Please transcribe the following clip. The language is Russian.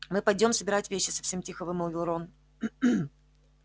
мы пойдём собирать вещи совсем тихо вымолвил рон